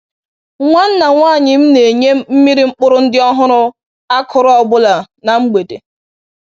Nwanna nwaanyị m na-enye mmiri mkpụrụ ndị ọhụrụ a kụrụ ọ bụla na mgbede